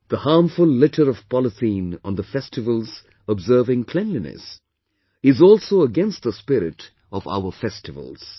The harmful litter of polythene on the festivals observing cleanliness is also against the spirit of our festivals